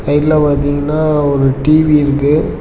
சைடுல பாத்தீங்கன்னா ஒரு டி_வி இருக்கு.